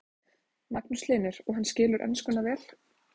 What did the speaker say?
Magnús Hlynur: Og hann skilur enskuna vel?